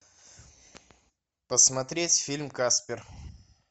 посмотреть фильм каспер